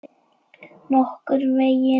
Nokkurn veginn.